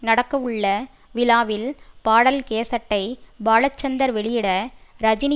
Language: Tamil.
நடக்கவுள்ள விழாவில் பாடல் கேசட்டை பாலசந்தர் வெளியிட ரஜினி